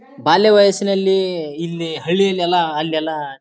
ಬಾಲ್ಯ ವಯಸಿನಲ್ಲಿ ಇಲ್ಲಿ ಹಳ್ಳಿ ಯಲ್ಲೆಲ್ಲ ಅಲ್ಲೆಲ್ಲ.